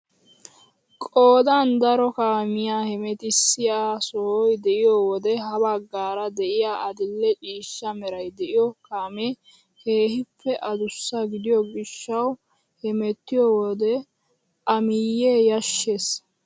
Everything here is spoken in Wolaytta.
Qoodan daro kaamiyaa hemettisiyaa sohoy de'iyoo wode ha baggaara de'iyaa adil'e ciishsha meray de'iyoo kaamee keehippe adussa gidiyoo gishshawu hemettiyoo wode a miyee yashshees!